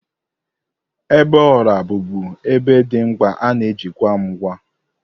Igbe ọla bụbụ igbe dị mkpa ana eji chekwaa ngwa.